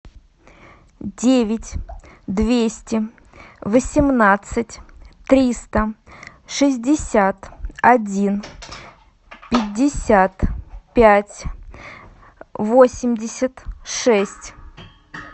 девять двести восемнадцать триста шестьдесят один пятьдесят пять восемьдесят шесть